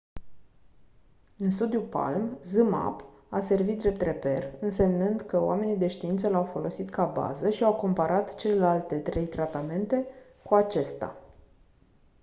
în studiul palm zmapp a servit drept reper însemnând că oamenii de știință l-au folosit ca bază și au comparat celelalte trei tratamente cu acesta